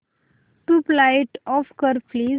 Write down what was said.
tubelight off कर please